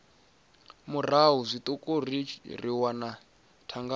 murahu zwiṱuku ri wana thangana